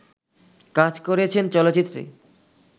কাজ করেছেন চলচ্চিত্রে